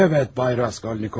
Bəli, cənab Raskolnikov.